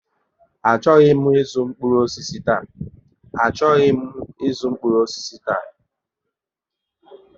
A chọghị m zuu mkpụrụ osisi taa